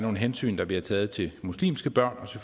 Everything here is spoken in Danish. nogle hensyn der bliver taget til muslimske børn og